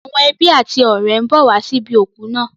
Àwọn ọ̀rẹ́ àti ẹbí ń bọ̀ wá sí ibi òkú náà.